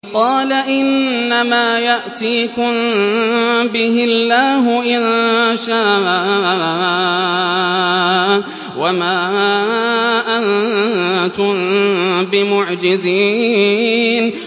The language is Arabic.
قَالَ إِنَّمَا يَأْتِيكُم بِهِ اللَّهُ إِن شَاءَ وَمَا أَنتُم بِمُعْجِزِينَ